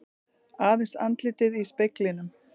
Aðeins andlitið í speglinum.